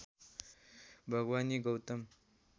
Bhawani Gautam